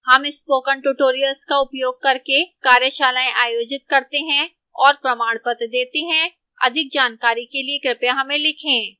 हम spoken tutorial का उपयोग करके कार्यशालाएँ आयोजित करते हैं और प्रमाणपत्र देती है अधिक जानकारी के लिए कृपया हमें लिखें